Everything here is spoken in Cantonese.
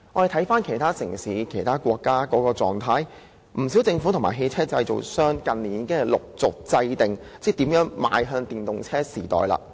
在其他城市和國家，不少政府和汽車製造商在近年已陸續制訂措施邁向電動車時代。